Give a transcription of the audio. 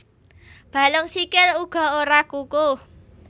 Balung sikil uga ora kukuh